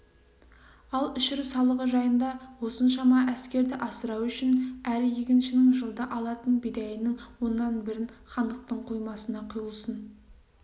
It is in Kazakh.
ал үшір салығы жайында осыншама әскерді асырау үшін әр егіншінің жылда алатын бидайының оннан бірін хандықтың қоймасына құйылсын